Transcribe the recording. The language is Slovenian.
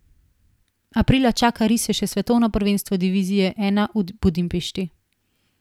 Aprila čaka rise še svetovno prvenstvo divizije I v Budimpešti.